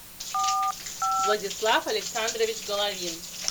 владислав александрович головин